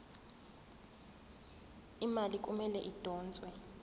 imali kumele idonswe